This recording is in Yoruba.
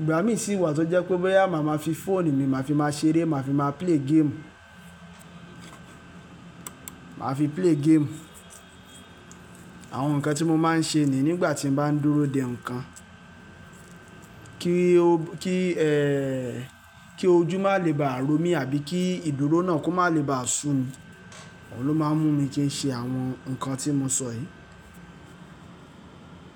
Ìgbà mí sì wà tó jẹ́ pé boya màá ma fi fóònù mi, màá fi máa ṣeré, màá fi máa play game. Màá fi play game. Àwọn nǹkan tí mo máa ń ṣe ni nígbà tí mo bá ń dúró de nǹkan. Kí o, kí ẹ, kí ojú má lè ba à ró mi àbí kí ìdúró náà kó má lè ba sù mi. Òun ló máa ń mú mi kí n ṣe àwọn nǹkan tí mo sọ yìí.